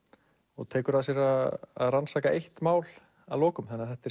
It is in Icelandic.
og tekur að sér að rannsaka eitt mál að lokum þetta er